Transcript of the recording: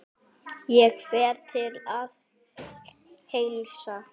Ég fer til að heilsa.